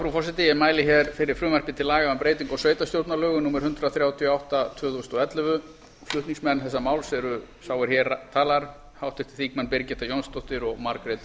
frú forseti ég mæli hér fyrir frumvarp til laga um breytingu á sveitarstjórnarlögum númer hundrað þrjátíu og átta tvö þúsund og ellefu flutningsmenn þessa máls eru sá er hér talar háttvirtir þingmenn birgitta jónsdóttir og margrét